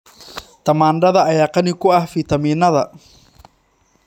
Tamaandhada ayaa qani ku ah fiitamiinnada.